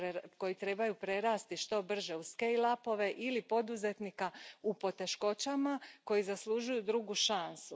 koji trebaju prerasti što brže u scaleupove ili poduzetnika u poteškoćama koji zaslužuju drugu šansu.